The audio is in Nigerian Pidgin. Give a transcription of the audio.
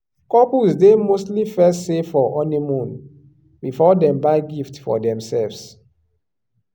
couples dey mostly first save for honeymoon before dem buy gift for themselves.